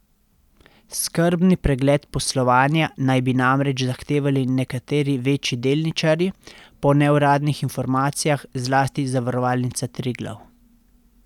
Skrbni pregled poslovanja naj bi namreč zahtevali nekateri večji delničarji, po neuradnih informacijah zlasti Zavarovalnica Triglav.